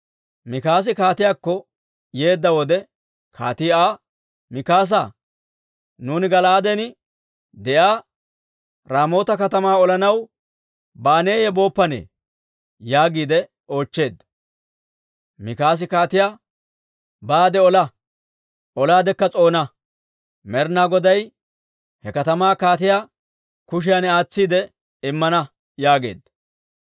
Mikaasi kaatiyaakko yeedda wode, kaatii Aa, «Mikaasaa, nuuni Gala'aaden de'iyaa Raamoota katamaa olanaw baaneeyye booppane?» yaagiide oochcheedda. Mikaasi kaatiyaa, «Baade ola; olaadekka s'oona. Med'inaa Goday he katamaa kaatiyaa kushiyan aatsiide immana» yaageedda.